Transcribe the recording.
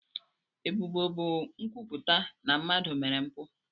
Ebubo bụ nkwupụta na mmadụ mere mpụ.